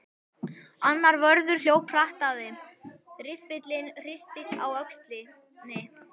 Annar vörður hljóp hratt að þeim, riffillinn hristist á öxlinni.